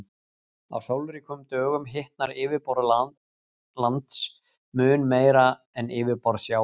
á sólríkum dögum hitnar yfirborð lands mun meira en yfirborð sjávar